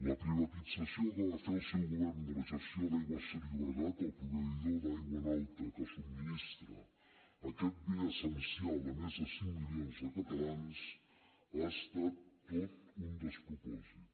la privatització que va fer el seu govern de la gestió d’aigües ter llobregat el proveïdor d’aigua en alta que subministra aquest bé essencial a més de cinc milions de catalans ha estat tot un despropòsit